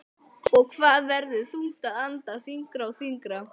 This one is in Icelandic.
Og það verður þungt að anda, þyngra og þyngra.